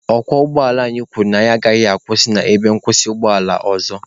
Ọkwọ ụgbọala kwuru na ya agaghị akwụsị n'ebe nkwụsị ụgbọ ala ọzọ.